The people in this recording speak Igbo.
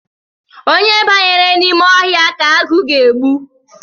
Onye banyere n’ime ọhịa ka agụ ga-egbu